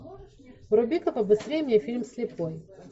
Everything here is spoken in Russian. вруби ка побыстрей мне фильм слепой